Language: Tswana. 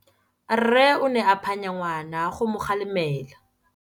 Rre o ne a phanya ngwana go mo galemela.